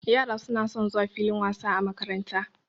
Yara suna son zuwa filin wasa a makaranta.